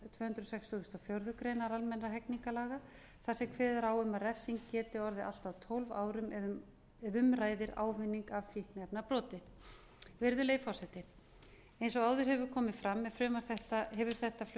hundruð sextugustu og fjórðu grein almennra hegningarlaga þar sem kveðið er á um að refsing geti orðið allt að tólf árum ef um ræðir ávinning af fíkniefnabroti virðulegi forseti eins og áður hefur komið fram hefur frumvarp